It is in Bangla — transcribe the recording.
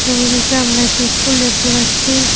ছবিটিতে আমরা একটি ইস্কুল দেখতে পাচ্ছি।